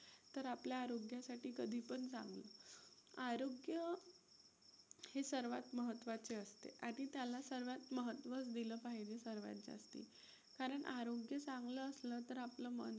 तर आपल्या आरोग्यासाठी कधीपण चांगलं. आरोग्य हे सर्वात महत्वाचे असते. आधी त्याला सर्वात महत्व दिलं पाहिजे सर्वात जास्ती. कारण आरोग्य चांगलं असलं तर आपलं मन